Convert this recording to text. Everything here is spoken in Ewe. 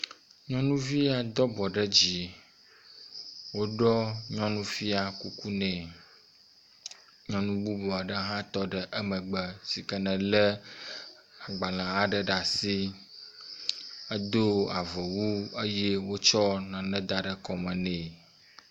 Nyɔnuvi ya do abɔ ɖe dzi, woɖɔ nyɔnu fia kuku nɛ. Nyɔnu bubu aɖe hã tɔ emegbe si ke nelé agbalẽ aɖe ɖe asi. Edo avɔ wu eye wotsɔ nane da ɖe kɔme nɛ.